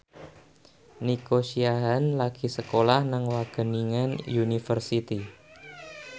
Nico Siahaan lagi sekolah nang Wageningen University